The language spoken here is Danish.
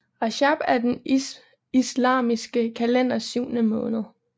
Rajab er den islamiske kalenders syvende måned